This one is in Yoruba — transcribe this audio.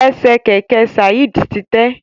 Ẹsẹ kẹkẹ Saeed ti tẹ.